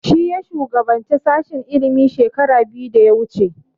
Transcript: Shi ya shugabance sashen ilimi shekara biyu da ya wuce